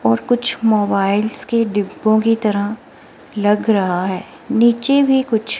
और कुछ मोबाइल्स के डिब्बों की तरह लग रहा है नीचे भी कुछ--